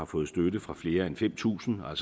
fået støtte fra flere end fem tusind og